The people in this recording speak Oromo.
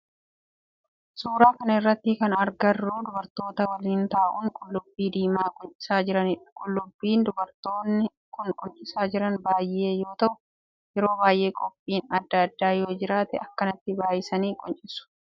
Suuraa kana irratti kan agarru dubartoota waliin ta'uun qullubbii diimaa quncisaa jiranidha. Qullubbii dubartoonni kun quncisaa jiran baayyee yoo ta'u yeroo baayyee qophiin addaa addaa yoo jiraate akkanatti baayyisanii quncisu